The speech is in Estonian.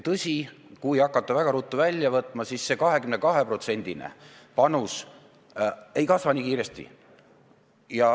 Tõsi, kui hakata sambast raha väga ruttu välja võtma, siis see 22%-line panus ei kasva nii kiiresti.